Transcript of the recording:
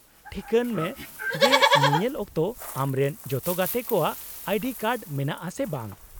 -ᱴᱷᱤᱠᱟᱹᱱ ᱢᱮ ᱡᱮ ᱧᱮᱧᱮᱞ ᱚᱠᱛᱚ ᱟᱢᱨᱮᱱ ᱡᱚᱛᱚ ᱜᱟᱛᱮ ᱠᱚᱣᱟᱜ ᱟᱭᱰᱤ ᱠᱟᱨᱰ ᱢᱮᱱᱟᱜᱼᱟ ᱥᱮ ᱵᱟᱝ ᱾